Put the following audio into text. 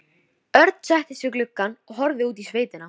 Örn settist við gluggann og horfði út í sveitina.